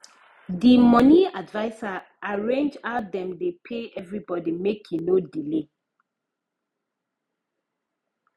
the money adviser arrange how dem dey pay everybody make e no delay